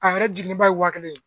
A yɛrɛ jiginnen ba ye wa kelen ye.